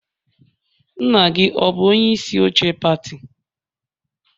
Nna gị ọ bụ onye isi oche pati?